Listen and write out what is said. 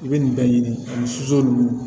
I bɛ nin bɛɛ ɲini ani soso ninnu